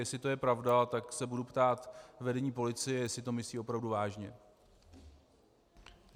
Jestli to je pravda, tak se budu ptát vedení policie, jestli to myslí opravdu vážně.